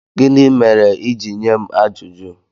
Gịnị mere i ji nye m ajụjụ?